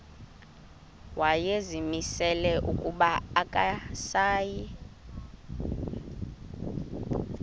wayezimisele ukuba akasayi